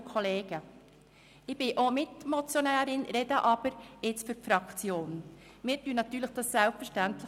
Wir unterstützen den Vorstoss selbstverständlich.